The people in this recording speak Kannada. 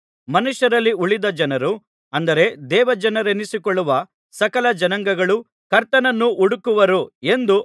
ಮನುಷ್ಯರಲ್ಲಿ ಉಳಿದ ಜನರು ಅಂದರೆ ದೇವಜನರೆನಿಸಿಕೊಳ್ಳುವ ಸಕಲ ಜನಾಂಗಗಳೂ ಕರ್ತನನ್ನು ಹುಡುಕುವರು ಎಂದು